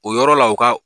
O yɔrɔ la u ka